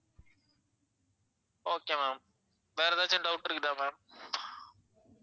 okay ma'am வேற எதாச்சும் doubt இருக்குதா ma'am